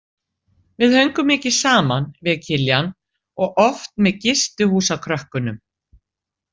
Við höngum mikið saman, við Kiljan, og oft með gistihúsakrökkunum.